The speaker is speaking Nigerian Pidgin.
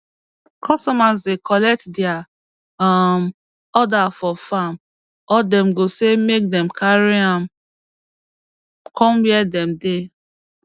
customers dey collect dia um order for farm or dem go say make dem carry am come wia dem dey